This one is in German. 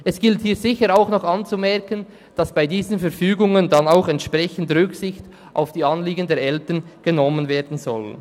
Es gilt hier sicher auch noch anzumerken, dass bei diesen Verfügungen dann auch entsprechend Rücksicht auf die Anliegen der Eltern genommen werden soll.